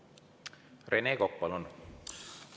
Rene Kokk, palun!